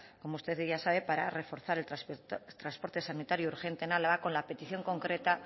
como usted ya sabe para reforzar el transporte sanitario urgente en álava con la petición concreta